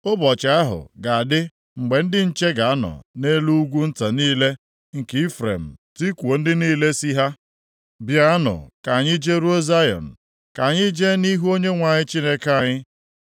Ụbọchị ahụ ga-adị mgbe ndị nche ga-anọ nʼelu ugwu nta niile nke Ifrem tikuo ndị niile sị ha, ‘Bịanụ ka anyị jeruo Zayọn, ka anyị jee nʼihu Onyenwe anyị Chineke anyị.’ ”